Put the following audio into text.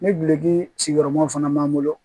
Ni bileki sigiyɔrɔmaw fana b'an bolo